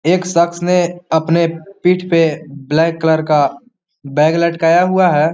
एक शख्स ने अपने पीठ पे ब्लैक कलर का बैग लटकाया हुआ है।